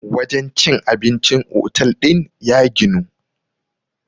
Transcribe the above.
wajen cin abincin otal din ya ginu